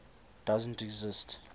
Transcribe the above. doesn t exist